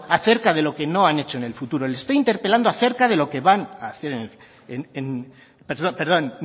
acerca de lo que no han hecho en el futuro le estoy interpelando perdón